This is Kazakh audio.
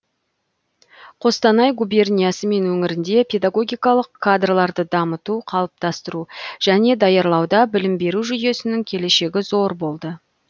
қостанай губерниясы мен өңірінде педагогикалық кадрларды дамыту қалыптастыру және даярлауда білім беру жүйесінің келешегі зор болды